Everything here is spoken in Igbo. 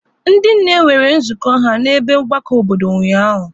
Ndị nne nwere nzukọ ha n'ebe mgbakọ obodo ụnyaahụ.